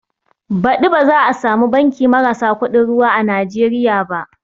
Baɗi ba za a samu banki marasa kuɗin ruwa a Nijeriya ba